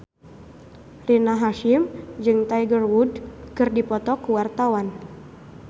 Rina Hasyim jeung Tiger Wood keur dipoto ku wartawan